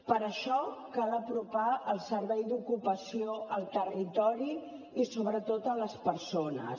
per això cal apropar el servei d’ocupació al territori i sobretot a les persones